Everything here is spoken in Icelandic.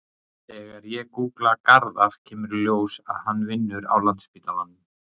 Þegar ég gúgla Garðar kemur í ljós að hann vinnur á Landspítalanum.